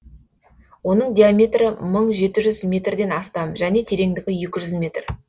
оның диаметрі мың жеті жүз метрден астам және тереңдігі екі жүз метр